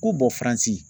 Ko bɔ faransi